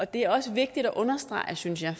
det er også vigtigt at understrege synes jeg